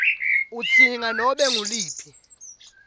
udzinga nobe nguluphi